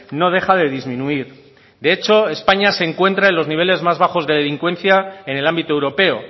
no deja de disminuir de hecho españa se encuentra en los niveles más bajos de delincuencia en el ámbito europeo